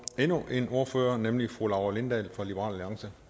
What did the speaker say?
endnu en ordfører nemlig fru laura lindahl fra liberal alliance